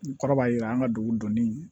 N kɔrɔ b'a yira an ka dugu dɔnni